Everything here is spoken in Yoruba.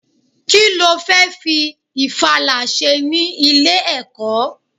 Kí lo fẹ́ fi ìfala ṣe ní ilé-ẹ̀kọ́?